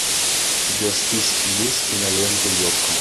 у тебя в списке есть кинолента йоко